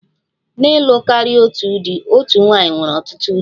Na ịlụ karịa otu di, otu nwanyị nwere ọtụtụ di